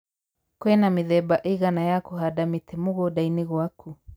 kwĩna mĩthemba ĩigana ya kũhanda mĩtĩ mũgũnda-inĩ gwakũ